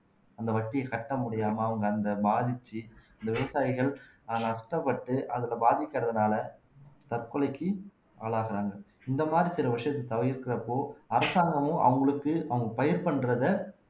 அந்த வட்டியைக் கட்ட முடியாம அவங்க அந்த பாதிச்சு இந்த விவசாயிகள் அதுல நஷ்டப்பட்டு அதுல பாதிக்கிறதுனால தற்கொலைக்கு ஆளாகுறாங்க இந்த மாதிரி சில விஷயத்த தவிர்க்கிறப்போ அரசாங்கமும் அவங்களுக்கு அவங்க பயிர் பண்றதை